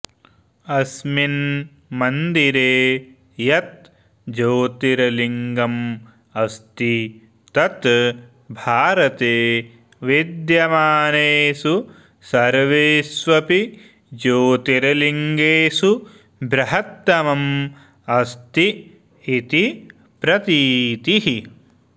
अस्मिन् मन्दिरे यत् ज्योतिर्लिङ्गम् अस्ति तत् भारते विद्यमानेषु सर्वेष्वपि ज्योतिर्लिङ्गेषु बृहत्तमम् अस्ति इति प्रतीतिः